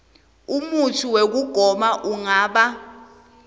umutsi wekugoma ungaba